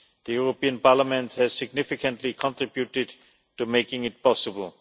The European Parliament has significantly contributed to making it possible.